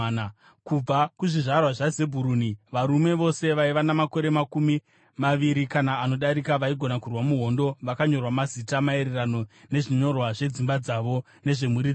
Kubva kuzvizvarwa zvaZebhuruni: Varume vose vaiva namakore makumi maviri kana anodarika vaigona kurwa muhondo vakanyorwa mazita, maererano nezvinyorwa zvedzimba dzavo nezvemhuri dzavo.